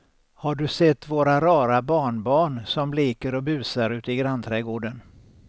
Har du sett våra rara barnbarn som leker och busar ute i grannträdgården!